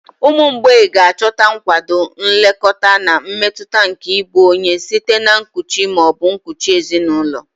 Ụmụ mgbei ga-achọta nkwado, nlekọta, na mmetụta nke ịbụ onye site na nkuchi ma ọ bụ nkuchi ezinụlọ.